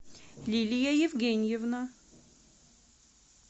лилия евгеньевна